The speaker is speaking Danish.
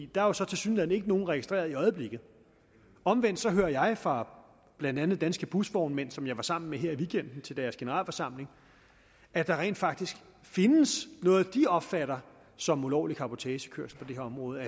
der er jo så tilsyneladende ikke nogen registreret i øjeblikket omvendt hører jeg fra blandt andet danske busvognmænd som jeg var sammen med her i weekenden til deres generalforsamling at der rent faktisk findes noget de opfatter som ulovlig cabotagekørsel på det her område